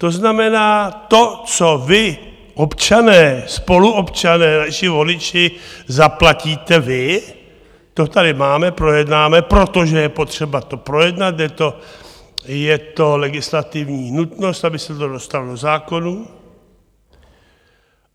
To znamená, to, co vy, občané, spoluobčané, naši voliči, zaplatíte vy, to tady máme, projednáme, protože je potřeba to projednat, je to legislativní nutnost, aby se to dostalo do zákonů.